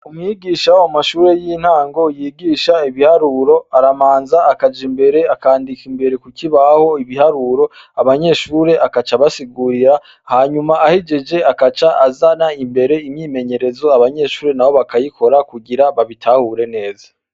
Umwigisha wo mumashuri yintango yigisha ibiharuro, arabanza akaja imbere akandika imbere kukibaho ibiharuro, abanyeshure agaca abasigurira hama ahejeje agaca azana imbere imyimenyerezo abanyeshure bakayikora kugira abanyeshure babitahure neza.